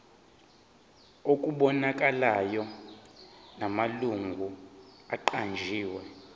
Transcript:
okubonakalayo namalungu aqanjiwe